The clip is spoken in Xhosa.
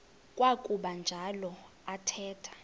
kwakuba njalo athetha